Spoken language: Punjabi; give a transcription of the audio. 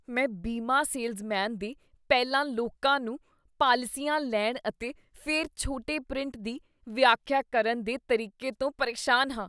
ਮੈਂ ਬੀਮਾ ਸੇਲਜ਼ਮੈਨ ਦੇ ਪਹਿਲਾਂ ਲੋਕਾਂ ਨੂੰ ਪਾਲਿਸੀਆਂ ਲੈਣ ਅਤੇ ਫਿਰ ਛੋਟੇ ਪ੍ਰਿੰਟ ਦੀ ਵਿਆਖਿਆ ਕਰਨ ਦੇ ਤਰੀਕੇ ਤੋਂ ਪਰੇਸ਼ਾਨ ਹਾਂ।